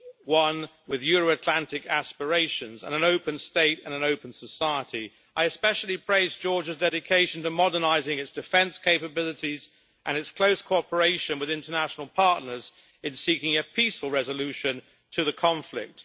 one with Euro Atlantic aspirations and an open state and an open society. I especially praise Georgia's dedication to modernising its defence capabilities and its close cooperation with international partners in seeking a peaceful resolution to the conflict.